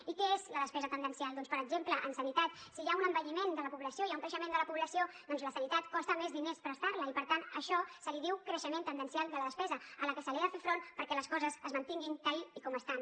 i què és la despesa tendencial doncs per exemple en sanitat si hi ha un envelliment de la població hi ha un creixement de la població doncs la sanitat costa més diners prestar la i per tant d’això se’n diu creixement tendencial de la despesa a la que s’ha de fer front perquè les coses es mantinguin tal com estan